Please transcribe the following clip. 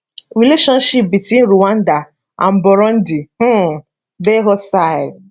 relationship between rwanda and burundi um dey hostile